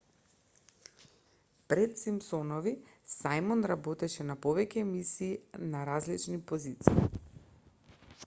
пред симпсонови сајмон работеше на повеќе емисии на различни позиции